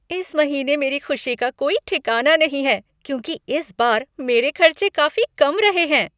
इस महीने मेरी खुशी का कोई ठिकाना नहीं है क्योंकि इस बार मेरे खर्चे काफ़ी कम रहे हैं।